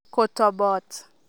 Kotoboot.